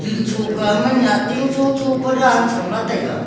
chuncho kawma nyahting cho cho pa dan chamla taiga.